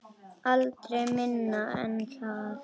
Aldrei minna en það.